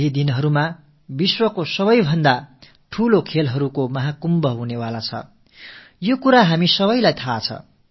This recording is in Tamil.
இன்னும் சில நாட்களில் உலக விளையாட்டுக்களின் மிகப் பெரிய கும்பமேளா நடைபெறவுள்ளது என்பதை நாம் அனைவரும் அறிவோம்